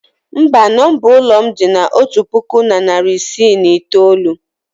mba, nomba ụlọ m dị na otu puku na iri isii na itoolu